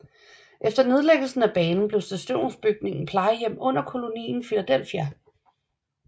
Efter nedlæggelsen af banen blev stationsbygningen plejehjem under Kolonien Filadelfia